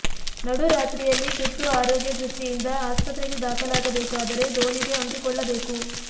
ನಡು ರಾತ್ರಿಯಲ್ಲಿ ತುರ್ತು ಆರೋಗ್ಯ ದೃಷ್ಟಿಯಿಂದ ಆಸ್ಪತ್ರಗೆ ದಾಖಲಾಗಬೇಕಾದರೆ ದೋಣಿಗೇ ಅಂಟಿಕೊಳ್ಳಬೇಕು